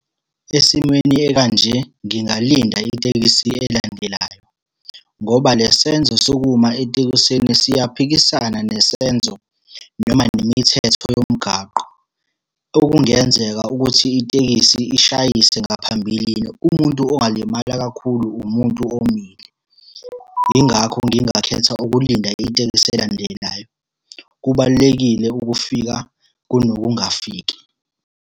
Esimweni ekanje, ngingalinda itekisi elandelayo, ngoba le senzo sokuma etekisini siyaphikisana nesenzo noma nemithetho yomgaqo. Okungenzeka ukuthi itekisi ishayise ngaphambilini umuntu ongalimala kakhulu umuntu omile. Yingakho ngingakhetha ukulinda itekisi elandelayo. Kubalulekile ukufika kunokungafiki.